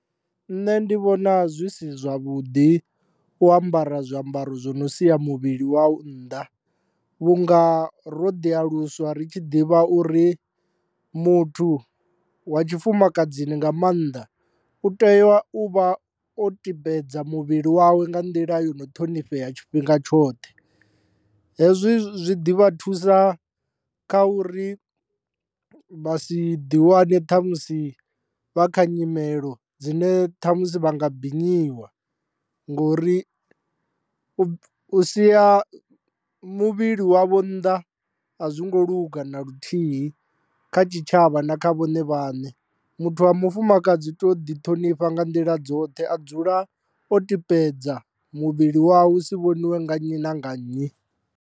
Nṋe ndi vhona zwi si zwavhuḓi u ambara zwiambaro zwi no sia muvhili wau nnḓa, vhunga ro ḓi aluswa ri tshi ḓivha uri muthu wa tshifumakadzini nga maanḓa u tea u vha o tibedza muvhili wawe nga nḓila yo no ṱhonifhea tshifhinga tshoṱhe, hezwi zwi ḓivha thusa kha uri vha si ḓi wane ṱhamusi vha kha nyimelo dzine ṱhamusi vha nga binyiwa, ngori u sia muvhili wavho nnḓa a zwi ngo luga na luthihi kha tshitshavha na kha vhone vhaṋe, muthu wa mufumakadzi to ḓi ṱhonifha nga nḓila dzoṱhe a dzula o tibedza muvhili wawe hu si vhoniwe nga nnyi na nga nnyi.